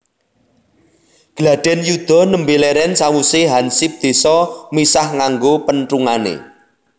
Gladhen yuda nembe leren sawuse hansip désa misah nganggo penthungane